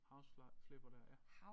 House Flipper der